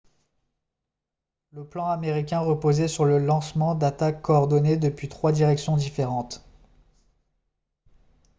le plan américain reposait sur le lancement d'attaques coordonnées depuis trois directions différentes